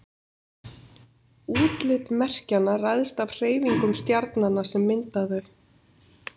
útlit merkjanna ræðst af hreyfingum stjarnanna sem mynda þau